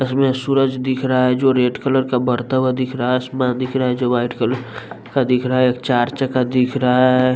इसमें सूरज दिख रहा है जो रेड कलर का बढ़ता हुआ दिख रहा है आसमान दिख रहा है जो वाइट कलर का दिख रहा है चार चक्का दिख रहा है।